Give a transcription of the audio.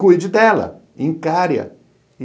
Cuide dela, encare-a.